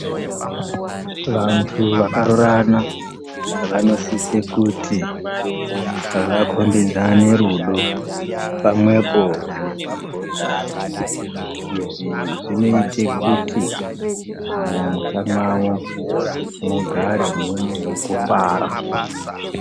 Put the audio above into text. Vantu vakarorana vanosise kuti vakombidzane rudo pamwepo nekugondana. Izvi zvinoite kuti mumusha mwavo mugare mune kufara.